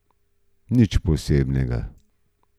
Nič posebnega.